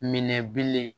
Minɛ bilen